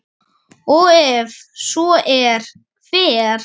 og ef svo er, hver?